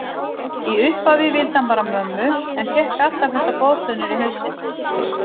Í upphafi vildi hann bara mömmu en fékk allar þessar boðflennur í hausinn.